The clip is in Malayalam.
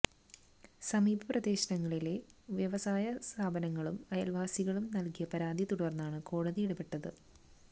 സമീപ പ്രദേശങ്ങളിലെ വ്യവസായ സ്ഥാപനങ്ങളും അയൽവാസികളും നൽകിയ പരാതിയെ തുടർന്നാണ് കോടതി ഇടപെട്ടത്